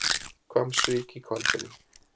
Hvammsvík í Hvalfirði.